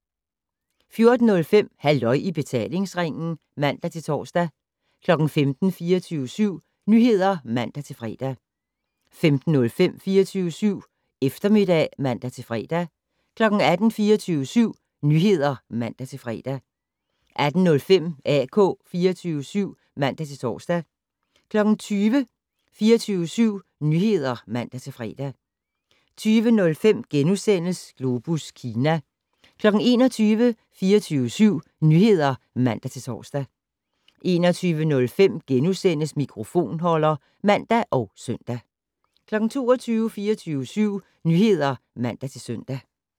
14:05: Halløj i betalingsringen (man-tor) 15:00: 24syv Nyheder (man-fre) 15:05: 24syv Eftermiddag (man-fre) 18:00: 24syv Nyheder (man-fre) 18:05: AK 24syv (man-tor) 20:00: 24syv Nyheder (man-fre) 20:05: Globus Kina * 21:00: 24syv Nyheder (man-tor) 21:05: Mikrofonholder *(man og søn) 22:00: 24syv Nyheder (man-søn)